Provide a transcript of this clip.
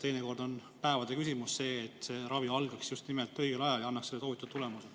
Teinekord on siin päevade küsimus, sest kui ravi algab õigel ajal, siis ta annab soovitud tulemuse.